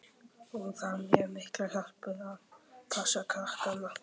Hún þarf mjög mikla hjálp við að passa krakkana.